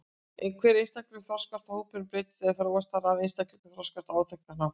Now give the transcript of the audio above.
Hver einstaklingur þroskast og hópurinn breytist eða þróast þar eð einstaklingarnir þroskast á áþekkan hátt.